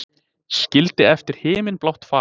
Skildi eftir himinblátt far.